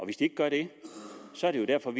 de gør det så er det jo derfor at